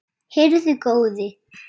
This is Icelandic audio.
Heyrðu góði!